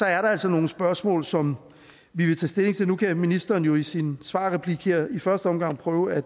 er der altså nogle spørgsmål som vi vil tage stilling til nu kan ministeren jo i sin svarreplik her i første omgang prøve at